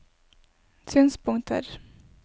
synspunkter